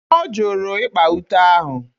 Ọ jụrụ ịkpa ute ahụ.